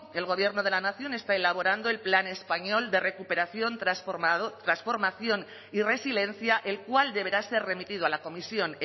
el gobierno de la nación está elaborando el plan español de recuperación transformación y resiliencia el cual deberá ser remitido a la comisión